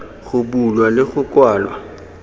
go bulwa le go kwalwa